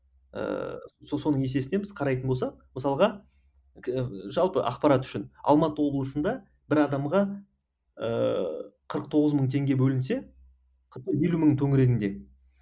ыыы соның есесіне біз қарайтын болсақ мысалға жалпы ақпарат үшін алматы облысында бір адамға ыыы қырық тоғыз мың теңге бөлінсе елу мың төңірегінде